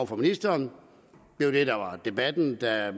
for ministeren det var det der var debatten da